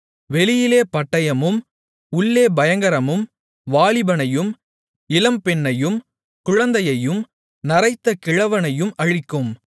வெளியிலே பட்டயமும் உள்ளே பயங்கரமும் வாலிபனையும் இளம்பெண்ணையும் குழந்தையையும் நரைத்த கிழவனையும் அழிக்கும்